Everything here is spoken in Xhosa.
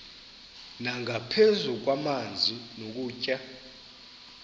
nangaphezu kwamanzi nokutya